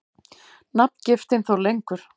Nafngiftin þó lengur.